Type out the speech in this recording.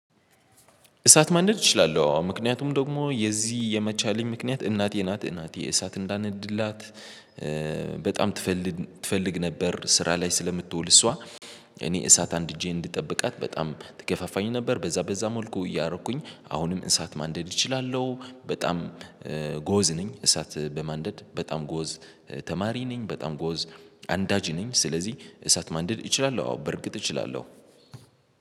እሳት ማንደድ እችላለው አዎ ምክንያቱም ደግሞ የዚህ የመቻሌ ምክንያት እናቴ ናት እናት የእሳት እንዳነድላት በጣም ትፈልግ ትፈልግ ነበር ስራ ላይ ስለምትውል እሷ እኔ እሳት አንድጄ እንድጠብቃት በጣም ትገፋፋኝ ነበር። በዛ በዛ ሞልኮ እያረኩኝ አሁንም እሳት ማንደድ እችላለዉ። በጣም ጎዝ ነኝ እሳት በማንደድ በጣም ጎዝ ተማሪ ነኝ በጣም ጎዝ አንዳጅ ነኝ ስለዚህ እሳት ማንደድ እችላለሁ አዎ በርግጥ እችላለው።